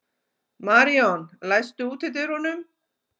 Maríon, læstu útidyrunum.